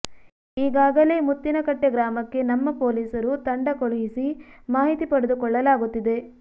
ಈಗಾಗಲೇ ಮುತ್ತಿನಕಟ್ಟೆ ಗ್ರಾಮಕ್ಕೆ ನಮ್ಮ ಪೊಲೀಸರು ತಂಡ ಕಳುಹಿಸಿ ಮಾಹಿತಿ ಪಡೆದುಕೊಳ್ಳಲಾಗುತ್ತಿದೆ